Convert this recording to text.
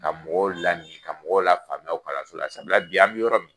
Ka mɔgɔw lamin ka mɔgɔw lafaamuya o kalanso la, sabula bi an mi yɔrɔ min